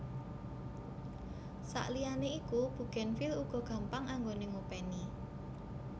Sakliyane iku bugenvil uga gampang anggoné ngopèni